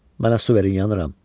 Mənə su verin, yanıram.